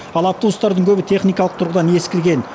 ал автобустардың көбі техникалық тұрғыдан ескірген